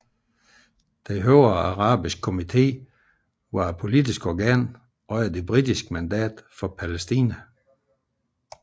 Den højere arabiske komité var et politisk organ under det britiske mandat for Palæstina